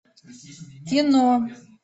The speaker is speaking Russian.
кино